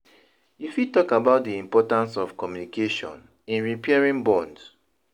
you fit talk about di importance of communication in repairing bonds?